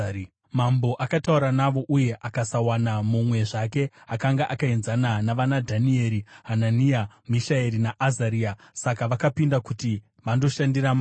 Mambo akataura navo, uye akasawana mumwe zvake akanga akaenzana navanaDhanieri, Hanania, Mishaeri naAzaria; saka vakapinda kuti vandoshandira mambo.